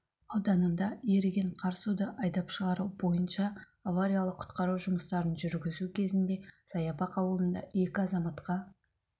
ауданында еріген қар суды айдап шығару бойынша авариялық-құтқару жұмыстарын жүргізу кезінде саябақ ауылында екі азаматқа